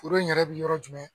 Foro in yɛrɛ bɛ yɔrɔ jumɛn ?